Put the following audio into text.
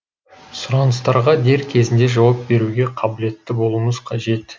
сұраныстарға дер кезінде жауап беруге қабілетті болуымыз қажет